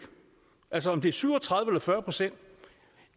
altså om det er syv og tredive eller fyrre procent